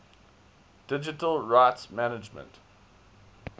digital rights management